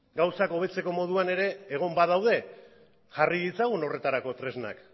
gauzak hobetzeko moduan ere egon badaude jarri ditzagun horretarako tresnak